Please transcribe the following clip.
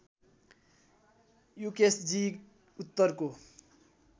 युकेशजी उत्तरको